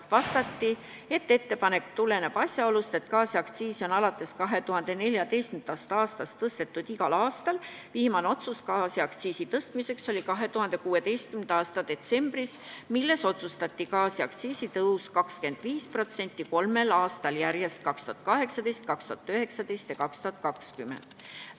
Vastati, et ettepanek tuleneb asjaolust, et gaasiaktsiisi on alates 2014. aastast tõstetud igal aastal, viimane otsus gaasiaktsiisi tõstmiseks oli 2016. aasta detsembris, milles otsustati gaasiaktsiisi tõus 25% kolmel aastal järjest, 2018, 2019 ja 2020.